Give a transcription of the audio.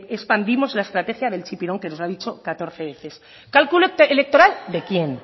expandimos la estrategia del chipirón que nos ha dicho catorce veces calculo electoral de quién